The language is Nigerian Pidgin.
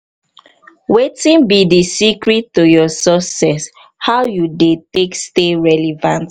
wetin be di secret to your success how you dey take stay relevant?